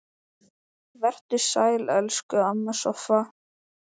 Vertu sæl, elsku amma Soffa.